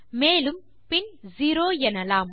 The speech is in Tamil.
மேலும் பின் செரோ எனலாம்